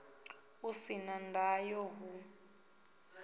u si na ndayo hu